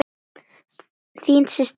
Þín systir, Guðrún.